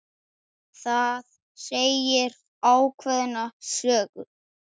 Það segir ákveðna sögu.